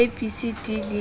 a b c d le